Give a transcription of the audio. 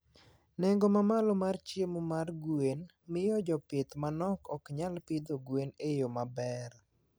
Nengo mamalo mar chiemo mar gwen miyo jopith manok ok nyal pidho gwen e yo maber.